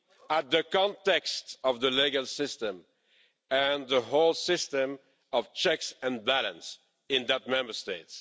at the context of the legal system and the whole system of checks and balances in that Member State.